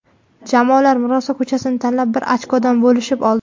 Jamoalar murosa ko‘chasini tanlab, bir ochkoda bo‘lishib oldi.